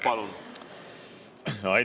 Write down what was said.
Palun!